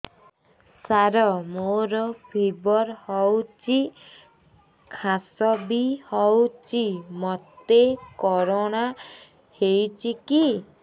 ସାର ମୋର ଫିବର ହଉଚି ଖାସ ବି ହଉଚି ମୋତେ କରୋନା ହେଇଚି କି